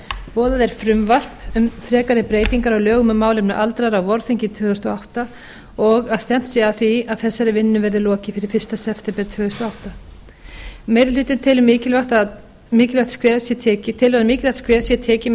boðað er frumvarp um frekari breytingar á lögum um málefni aldraðra á vorþingi tvö þúsund og átta og að stefnt sé að því að þessari vinnu verði lokið fyrir fyrsta september tvö þúsund og átta meiri hlutinn telur að mikilvægt skref sé tekið